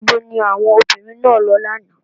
Níbo ni àwọn obìnrin náà lọ lánàá?